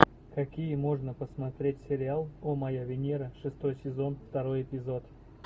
какие можно посмотреть сериал о моя венера шестой сезон второй эпизод